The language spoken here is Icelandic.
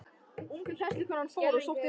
Unga kennslukonan fór og sótti vatn.